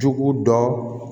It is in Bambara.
Jugu dɔn